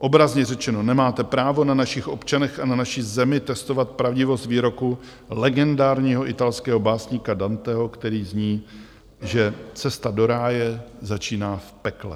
Obrazně řečeno, nemáte právo na našich občanech a na naší zemi testovat pravdivost výroku legendárního italského básníka Danteho, který zní, že "cesta do ráje začíná v pekle".